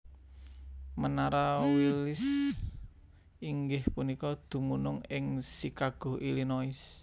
Menara Willis inggih punika dumunung ing Chicago Illinois